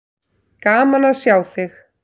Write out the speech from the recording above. Gaman að sjá þig.